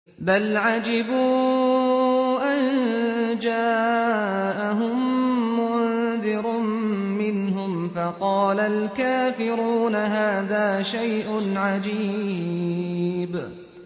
بَلْ عَجِبُوا أَن جَاءَهُم مُّنذِرٌ مِّنْهُمْ فَقَالَ الْكَافِرُونَ هَٰذَا شَيْءٌ عَجِيبٌ